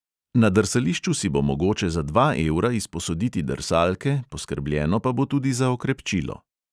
Na drsališču si bo mogoče za dva evra izposoditi drsalke, poskrbljeno pa bo tudi za okrepčilo.